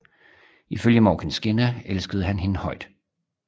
Ifølge Morkinskinna elskede han hende højt